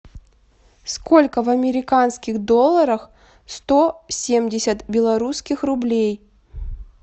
сколько в американских долларах сто семьдесят белорусских рублей